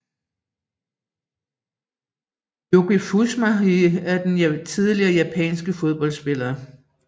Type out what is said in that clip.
Yuki Fushimi er en tidligere japansk fodboldspiller